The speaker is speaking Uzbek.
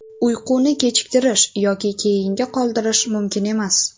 Uyquni kechiktirish yoki keyinga qoldirish mumkin emas.